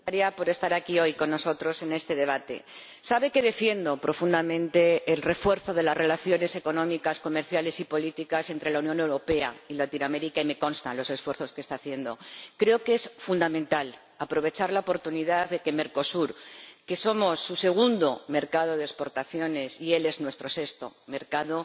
Señora Presidenta señora Comisaria, gracias por estar aquí hoy con nosotros en este debate. Sabe que defiendo profundamente el refuerzo de las relaciones económicas, comerciales y políticas entre la Unión Europea y Latinoamérica y me constan los esfuerzos que está haciendo. Creo que es fundamental aprovechar la oportunidad de poder celebrar un acuerdo con Mercosur —somos su segundo mercado de exportaciones y ellos son nuestro sexto mercado—